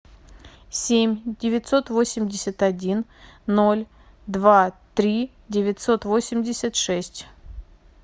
семь девятьсот восемьдесят один ноль два три девятьсот восемьдесят шесть